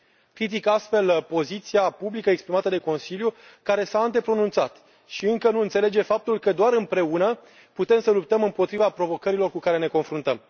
Critic, astfel, poziția publică exprimată de Consiliul, care s a antepronunțat și încă nu înțelege faptul că doar împreună putem să luptăm împotriva provocărilor cu care ne confruntăm.